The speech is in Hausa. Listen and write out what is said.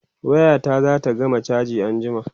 waya ta zata gama chaji anjima